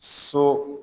So